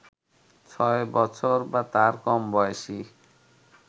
৬ বছর বা তার কম বয়সী